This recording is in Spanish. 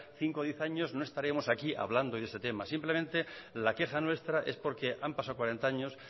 cinco o diez años no estaríamos aquí hablando de ese tema simplemente la queja nuestra es porque han pasado cuarenta años